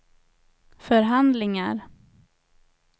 förhandlingar